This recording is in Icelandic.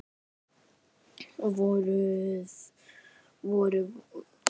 Vor, voruð þið í því?